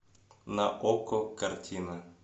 на окко картина